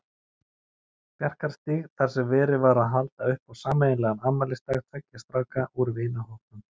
Bjarkarstíg þar sem verið var að halda upp á sameiginlegan afmælisdag tveggja stráka úr vinahópnum.